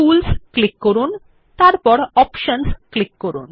tools click করুন তারপর options click করুন